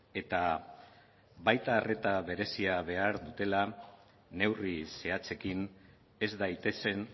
eta baita arreta berezia behar dutela neurri zehatzekin ez daitezen